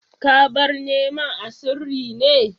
Ya bar neman a sirri ne?